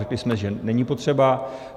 Řekli jsme, že není potřeba.